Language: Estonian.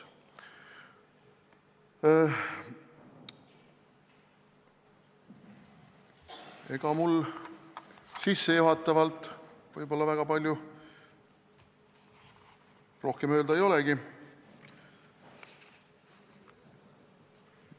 Ega mul sissejuhatavalt väga palju rohkem öelda ei olegi.